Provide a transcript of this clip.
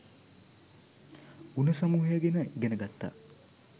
ගුණ සමූහය ගැන ඉගෙන ගත්තා